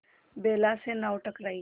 बेला से नाव टकराई